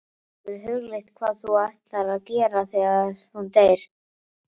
Hefurðu hugleitt hvað þú ætlar að gera þegar hún deyr?